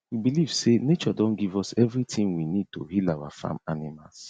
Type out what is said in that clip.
we believe say nature don give us everything we need to heal our farm animals